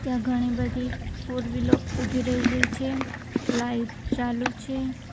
ઘણી બધી ફોરવીલો ઉભી રહેલી છે લાઈટ ચાલુ છે.